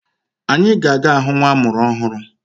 Anyi ga aga ahụ nwa amụrụ ọhụrụ.